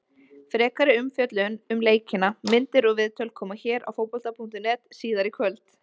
Frekari umfjöllun um leikina, myndir og viðtöl, koma hér á Fótbolta.net síðar í kvöld.